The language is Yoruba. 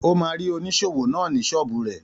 Ó máa rí oníṣòwò náà ní ṣọ́ọ̀bù rẹ̀.